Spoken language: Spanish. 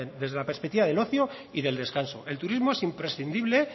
desde la perspectiva del ocio y del descanso el turismo es imprescindible